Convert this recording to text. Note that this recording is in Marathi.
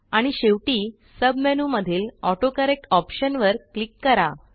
आणि शेवटी सब मेनूमधील ऑटोकरेक्ट ऑप्शनवर क्लिक करा